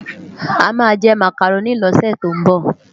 Amá jè Mákáróni lòsè tó nbò